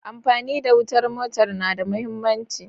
Amfani da wutar motar na da mahimmanci.